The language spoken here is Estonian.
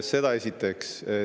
Seda esiteks.